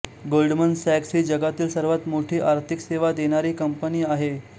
Goldman सॅक्स ही जगातील सर्वांत मोठी आर्थिक सेवा देणारी कंपनी आहे